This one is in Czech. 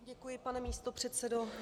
Děkuji, pane místopředsedo.